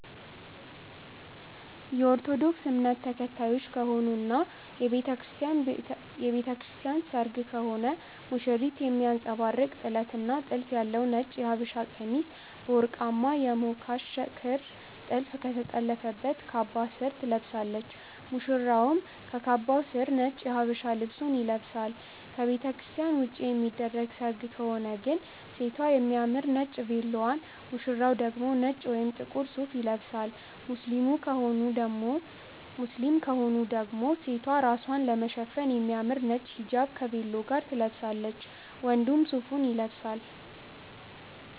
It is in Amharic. የኦርቶዶክስ እምነት ተከታዮች ከሆኑ እና የቤተክርስቲያን ቤተክርስቲያን ሰርግ ከሆነ ሙሽሪት የሚያንጸባርቅ ጥለት እና ጥልፍ ያለው ነጭ የሃበሻቀሚስ በወርቃማ የሞካሽ ክር ጥልፍ ከተጠለፈበት ካባ ስር ትለብሳለች፣ ሙሽራውም ከካባው ስር ነጭ የሃበሻ ልብሱን ይለብሳል። ከቤተክርስትያን ውጪ የሚደረግ ሰርግ ከሆነ ግን ሴቷ የሚያምር ነጭ ቬሎዋን፣ ሙሽራው ደግሞ ነጭ ወይም ጥቁር ሱፍ ይለብሳሉ። ሙስሊም ከሆኑ ደግሞ ሴቷ ራስዋን ለመሸፈን የሚያምር ነጭ ሂጃብ ከቬሎ ጋር ትለብሳለች፣ ወንዱም ሱፉን ይለብሳል።